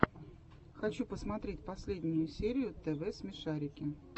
хочу посмотреть последнюю серию тв смешарики